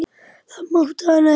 Það mátti hann ekki.